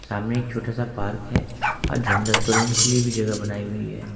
सामने एक छोटा सा पार्क है और के लिए भी जगह बनाई हुई है।